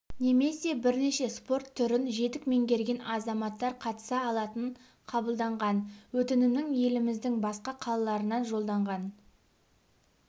немесе бірнеше спорт түрін жетік меңгерген азаматтар қатыса алатын қабылданған өтінімнің еліміздің басқа қалаларынан жолданған